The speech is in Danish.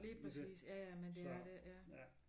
Lige præcis ja ja men det er det ja